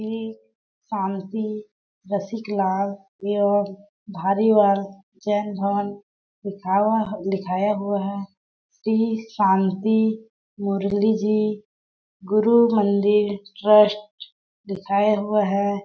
श्री शांति रसिकलाल जैन धर्म लिखाया-लिखाया हुआ है श्री शांति मुरली जी गुरुमंदिर ट्रस्ट लिखाया हुआ हैं ।